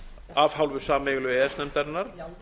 af hálfu sameiginlegu e e s nefndarinnar